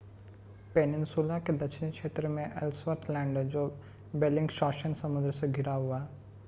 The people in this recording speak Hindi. पेनिनसुला के दक्षिणी क्षेत्र में एल्सवर्थ लैंड है जो बेल्लिंगशॉसेन समुद्र से घिरा हुआ है